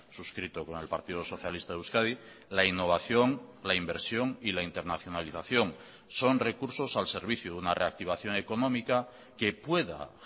suscrito con el partido socialista de euskadi la innovación la inversión y la internacionalización son recursos al servicio de una reactivación económica que pueda